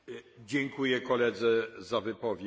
Monsieur le Président, je vais droit au but.